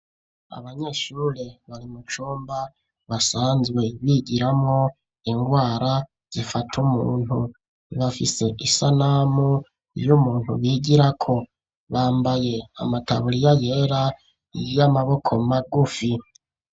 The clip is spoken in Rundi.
Abanyeshuri bari mu cumba basanzwe bigiramo ingwara zifata umuntu bafise isanamu y'umuntu bigirako bambaye amataburiya yera y'amaboko magufi.